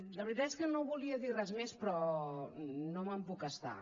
la veritat és que no volia dir res més però no me’n puc estar